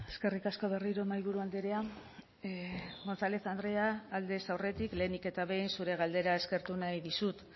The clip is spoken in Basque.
eskerrik asko berriro mahaiburu andrea gonzález andrea aldez aurretik lehenik eta behin zure galdera eskertu nahi dizut